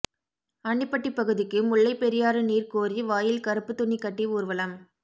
ஆண்டிபட்டி பகுதிக்கு முல்லை பெரியாறு நீர் கோரி வாயில் கருப்பு துணி கட்டி ஊர்வலம்